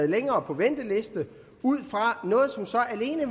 længere på venteliste ud fra noget som så alene